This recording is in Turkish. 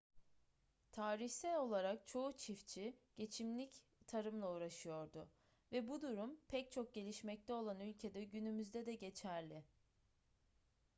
tarihsel olarak çoğu çiftçi geçimlik tarımla uğraşıyordu ve bu durum pek çok gelişmekte olan ülkede günümüzde de geçerli